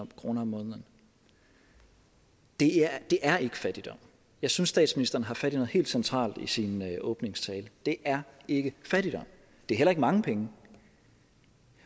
kroner om måneden det er ikke fattigdom jeg synes statsministeren har fat i noget helt centralt i sin åbningstale det er ikke fattigdom det er heller ikke mange penge